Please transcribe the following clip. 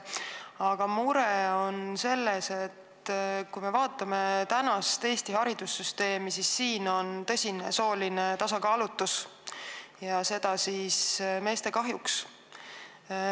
Aga mure on selles, et kui me vaatame Eesti haridussüsteemi, siis näeme tõsist soolist tasakaalutust ja seda meeste kahjuks.